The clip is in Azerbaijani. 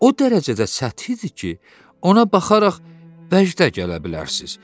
Amma o dərəcədə sətihdir ki, ona baxaraq vəcdə gələ bilərsiniz.